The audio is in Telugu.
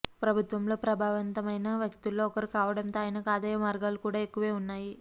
ప్రభుత్వంలో ప్రభావంతమైన వ్యక్తుల్లో ఒకరు కావడంతో ఆయనకు ఆదాయ మార్గాలు కూడా ఎక్కువే ఉన్నాయి